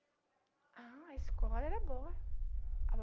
Ah, a escola era boa.